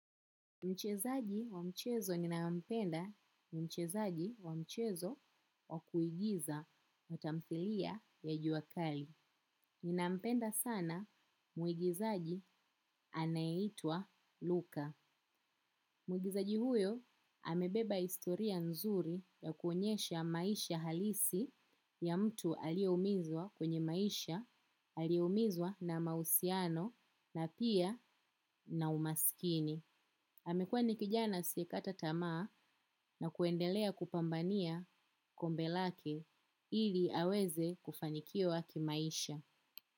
Mchezaji wa mchezo ninaye mpenda mchezaji wa mchezo wa kuigiza na tamthilia ya juakali. Ninaampenda sana muigizaji anayeitwa. Luka. Muigizaji huyo amebeba historia nzuri ya kuonyesha maisha halisi ya mtu aliyeumizwa kwenye maisha, aliyeumizwa na mahusiano na pia na umaskini. Amekuwa ni kijana asiyekata tamaa na kuendelea kupambania kombe lake ili aweze kufanikiwa kimaisha.